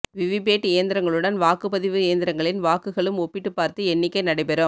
VVPAT இயந்திரங்களுடன் வாக்குப்பதிவு இயந்திரங்களின் வாக்குகளும் ஒப்பிட்டு பார்த்து எண்ணிக்கை நடைபெறும்